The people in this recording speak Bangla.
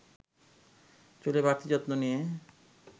চুলে বাড়তি যত্ন নিয়ে